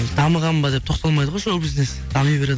дамыған ба деп тоқталмайды ғой шоу бизнес дами береді